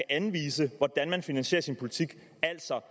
anvise hvordan man så finansierer sin politik altså